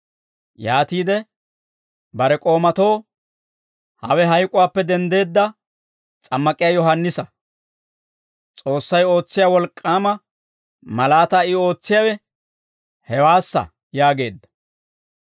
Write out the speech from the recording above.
yaatiide bare k'oomatoo, «Hawe hayk'uwaappe denddeedda S'ammak'iyaa Yohaannisa; S'oossay ootsiyaa wolk'k'aama malaataa I ootsiyaawe hewaassa» yaageedda.